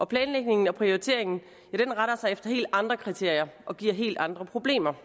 planlægningen og prioriteringen retter sig efter helt andre kriterier og giver helt andre problemer